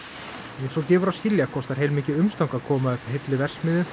eins og gefur að skilja kostar heilmikið umstang að koma upp heilli verksmiðju